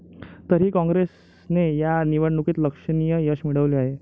तरीही काँग्रेसने या निवडणुकीत लक्षणीय यश मिळवले आहे.